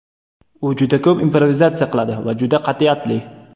U juda ko‘p improvizatsiya qiladi va juda qat’iyatli.